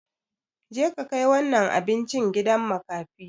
Je ka kai wannan abinci gidan makafi!